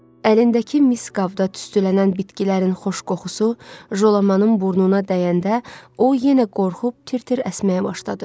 Əlindəki mis qabda tüstülənən bitkilərin xoş qoxusu Jolamanın burnuna dəyəndə o yenə qorxub tir-tir əsməyə başladı.